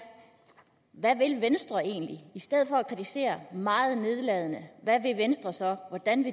hvad vil venstre egentlig i stedet for at kritisere meget nedladende hvad vil venstre så